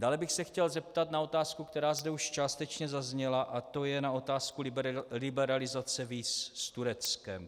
Dále bych se chtěl zeptat na otázku, která zde už částečně zazněla, a to je na otázku liberalizace víz s Tureckem.